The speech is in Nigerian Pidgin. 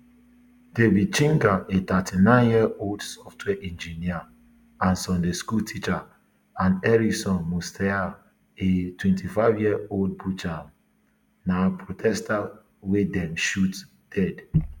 david chege a thirty-nine year old software engineer and sunday school teacher and ericsson mutisya a twenty-fiveyearold butcher na protesters wey dem shoot dead